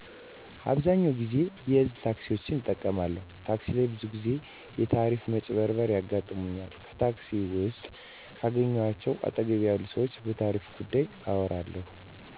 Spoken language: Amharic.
አብዛኛውን ጊዜ የህዝብ ታክሲዎችን እጠቀማለሁ ታክሲ ላይ ብዙ ግዜዎች የታሪፍ መጭበርበሮችያጋጥሙኛል ከታክሲ ውስጥ ከአገኘዃቸው አጠገቤ ያሉ ሰዎች በታሪፍ ጉዳይ አወራለሁ